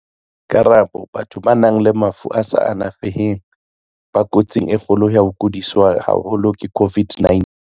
Karabo- Batho ba nang le mafu a sa alafeheng ba ko tsing e kgolo ya ho kodiswa haholo ke COVID-19.